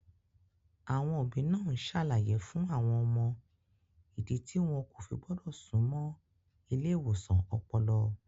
Àwọn òbí náà ń ṣàlàyé fún àwọn ọmọ ìdí tí wọn kò fi gbọ́dọ̀ súnmọ́ ilé ìwòsàn ọpọlọ.